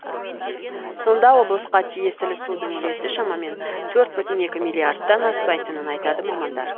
сонда облысқа тиесілі судың үлесі шамамен төрт бүтін екі миллиардтан аспайтынын айтады мамандар